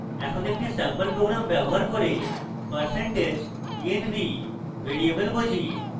env একটি sample program ব্যবহার করে % env ভ্যারিয়েবল বুঝি